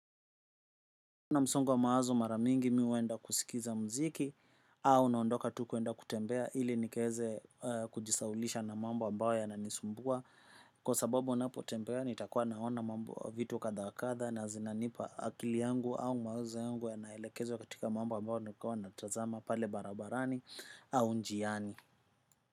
Na msongo wa mawazo mara mingi mi huenda kuskiza muziki au naondoka tu kuenda kutembea ili nikaeze kujisahaulisha na mambo ambayo yananisumbua. Kwa sababu unapotembea nitakuwa naona mambo vitu kadha wa kadha na zinanipa akili yangu au mawazo yangu yanaelekezwa katika mambo ambayo nakuwa natazama pale barabarani au njiani.